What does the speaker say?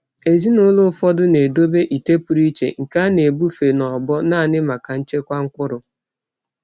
Ezinụlọ ụfọdụ na-edobe ite pụrụ iche nke a na-ebufe n'ọgbọ naanị maka nchekwa mkpụrụ.